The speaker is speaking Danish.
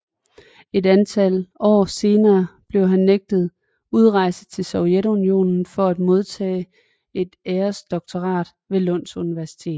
Et antal år senere blev han nægtet udrejse fra Sovjetunionen for at modtage et æresdoktorat ved Lunds Universitet